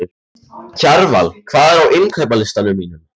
Kjarval, hvað er á innkaupalistanum mínum?